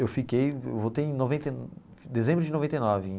Eu fiquei voltei em noventa em dezembro de noventa e nove.